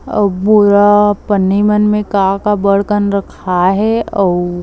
अऊ बोरा पन्नी मन में का-का बढ़कन रखाए हे अऊ--